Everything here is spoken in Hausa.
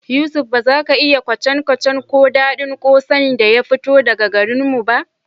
Yusuf, ba za ka iya kwacen-kwacen ko daɗin kwosai da ya fito daga garin mu ba